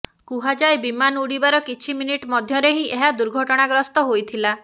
କୁହାଯାଏ ବିମାନ ଉଡିବାର କିଛି ମିନିଟ୍ ମଧ୍ୟରେ ହିଁ ଏହା ଦୁର୍ଘଟଣାଗ୍ରସ୍ତ ହୋଇଥିଲା